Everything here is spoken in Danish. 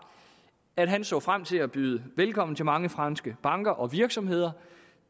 at han så frem til at byde velkommen til mange franske banker og virksomheder